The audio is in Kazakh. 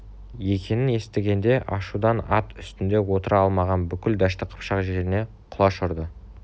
екенін естігенде ашудан ат үстінде отыра алмаған бүкіл дәшті қыпшақ жеріне құлаш ұрды